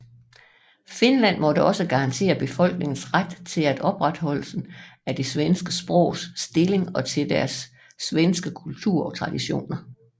Finland måtte også garantere befolkningens ret til opretholdelsen af det svenske sprogs stilling og til deres svenske kultur og traditioner